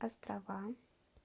острова